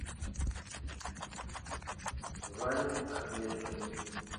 ване ахметшину